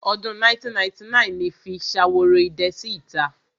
Ọdún 1999 ni fi Ṣaworoidẹ sí ìta.